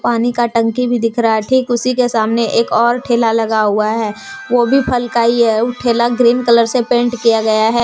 पानी का टंकी भी दिख रहा है ठीक उसी के सामने एक और ठेला लगा हुआ है वो भी फल का ही है उ ठेला ग्रीन कलर से पेंट किया गया है।